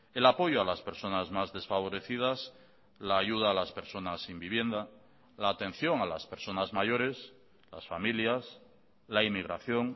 el apoyo a las personas mas desfavorecidas la ayuda a las personas sin vivienda la atención a las personas mayores las familias la inmigración